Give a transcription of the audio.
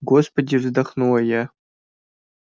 господи вздохнула я